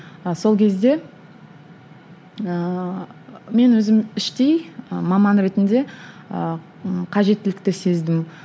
сол кезде ііі мен өзім іштей і маман ретінде і қажеттілікті сездім